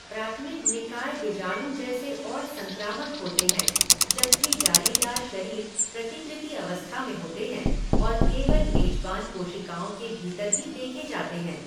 प्राथमिक निकाय बीजाणु जैसे और संक्रामक होते हैं, जबकि जालीदार शरीर प्रतिकृति अवस्था में होते हैं और केवल मेजबान कोशिकाओं के भीतर ही देखे जाते हैं।